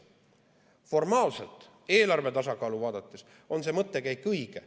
Formaalselt, eelarve tasakaalu vaadates, on see mõttekäik õige.